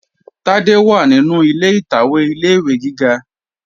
Tádé wà nínú ilé ìtàwé ilé-ìwé gíga